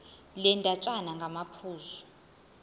le ndatshana ngamaphuzu